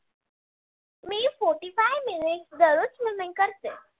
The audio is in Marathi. मी forty five minutes दररोज swimming करते.